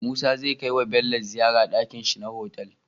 Musa zai kai wa Bello ziyar dakin shi na otal